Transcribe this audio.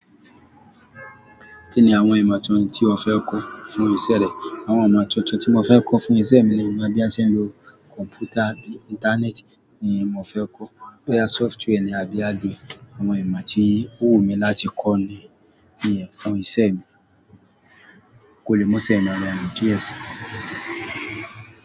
Kí ni àwọn ìmọ̀ tuntun tí o fẹ́ kọ́ fún ìṣe rẹ? Àwọn ìmọ̀ tuntun tí mo fẹ́ kọ́ fún ìṣe mi ni bí a ṣe ń lo kọ̀mpútà abi Íńtánẹ́ẹ̀tì ni mo fẹ́ kọ́. Wá ya software ní abi hardware. Àwọn ìmọ̀ tí ó wù mí láti kọ́ ni, nìyẹn fún ìṣe mi. Kò lè múṣẹ́ yẹn rọrun díẹ̀ sí.